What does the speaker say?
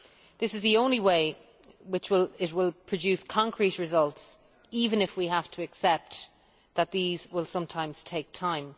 This is the only way that it will produce concrete results, even if we have to accept that these will sometimes take time.